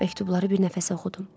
Məktubları bir nəfəsə oxudum.